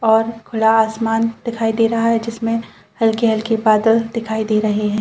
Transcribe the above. और खुला आसमान दिखाई दे रहा है जिसमे हल्के-हल्के बादल दिखाई दे रहे है।